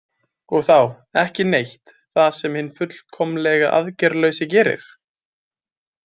Og þá „ekki neitt“ það sem hinn fullkomlega aðgerðalausi gerir?